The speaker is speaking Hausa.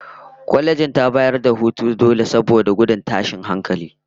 Kwalejin ta bayar da hutun dole saboda gudun tashin hankali